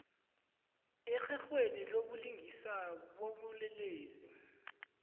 erherhweni lobulungiswa bobulelesi